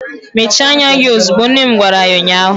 Mechie anya gị ozugbo! nne m gwara ya ụnyaahụ.